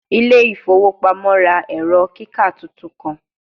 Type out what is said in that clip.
Ile ifowo pamo ra ẹrọ kika tuntun kan